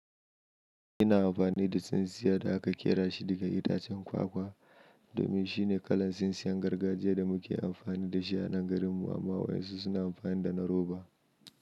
Ina amfani da tsintsiya da aka ƙera shi daga itacen kwakwa domin shine kalar tsintsiyan gargajiya da muke amfani da shi a nan garinmu, amma wasu suna amfani da na roba.